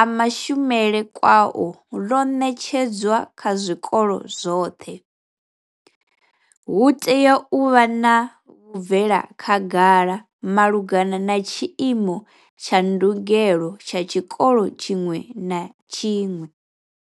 a mashumele kwao ḽo ṋetshedzwa kha zwikolo zwoṱhe. Hu tea u vha na vhubvela khagala malugana na tshiimo tsha ndugelo tsha tshikolo tshiṅwe na tshiṅwe.